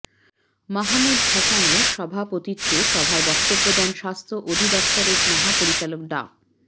মাহমুদ হাসানের সভাপতিত্বে সভায় বক্তব্য দেন স্বাস্থ্য অধিদফতরের মহাপরিচালক ডা